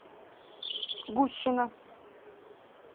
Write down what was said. гущина